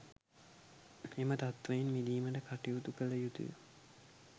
එම තත්ත්වයෙන් මිදීමට කටයුතු කළ යුතු ය.